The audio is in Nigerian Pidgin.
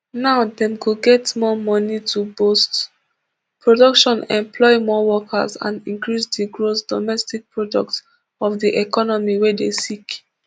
now dem go get more money to boost production employ more workers and increase di gross domestic product of di economy wey dey sick